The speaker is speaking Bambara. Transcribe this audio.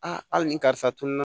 A hali ni karisa tununa